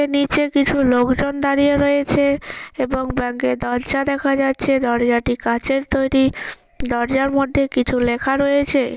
নীচে কিছু লোক জন দাঁড়িয়ে রয়েছে এবং ব্যাঙ্ক -এর দরজা দেখা যাচ্ছে দরজাটি কাঁচের তৈরি দরজার মধ্যে কিছু লেখা রয়েছে।